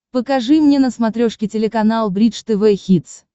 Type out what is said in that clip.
покажи мне на смотрешке телеканал бридж тв хитс